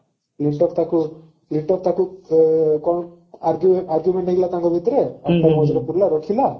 ତାକୁ ତାକୁ ସେ କଣ ଆର୍ଗୁ argument ହେଇଗଲା ତାଙ୍କ ଭିତରେ ମଝିରେ ରଖିଲା